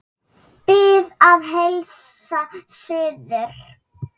Bið að heilsa suður.